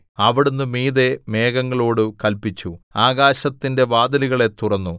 അവിടുന്ന് മീതെ മേഘങ്ങളോടു കല്പിച്ചു ആകാശത്തിന്റെ വാതിലുകളെ തുറന്നു